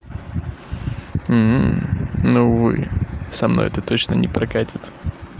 но увы со мной это точно не прокатит